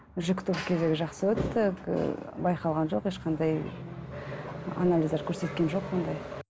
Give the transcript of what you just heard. жүктілік кезі жақсы өтті ііі байқалған жоқ ешқандай анализдер көрсеткен жоқ ондай